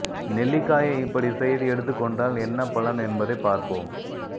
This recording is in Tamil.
நெல்லிக்காயை இப்படி செய்து எடுத்துக் கொண்டால் என்ன பலன் என்பதை பார்ப்போம்